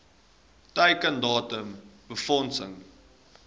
teiken datum befondsing